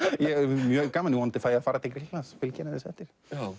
mjög gaman vonandi fæ ég að fara til Grikklands og fylgja henni aðeins eftir